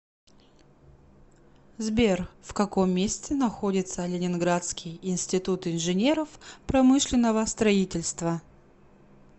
сбер в каком месте находится ленинградский институт инженеров промышленного строительства